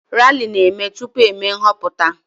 Rali na-eme tupu eme nhọpụta